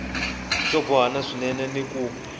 xo bohana swinene ni ku